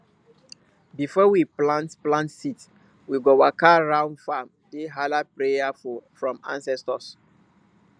before we plant plant seed we go waka round farm dey hala prayer from ancestors